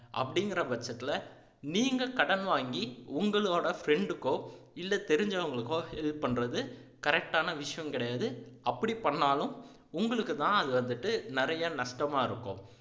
அப்படீங்குற பட்சத்துல நீங்க கடன் வாங்கி உங்களோட friend க்கோ இல்ல தெரிஞ்சவங்களுக்கோ help பண்றது correct ஆன விஷயம் கிடையாது அப்படி பண்ணுனாலும் உங்களுக்குத்தான் அது வந்துட்டு நிறைய நஷ்டமா இருக்கும்